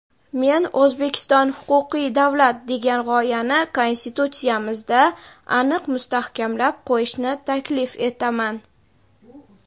men "O‘zbekiston – huquqiy davlat" degan g‘oyani Konstitutsiyamizda aniq mustahkamlab qo‘yishni taklif etaman.